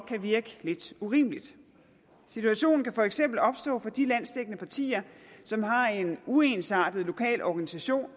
kan virke lidt urimeligt situationen kan for eksempel opstå for de landsdækkende partier som har en uensartet lokal organisation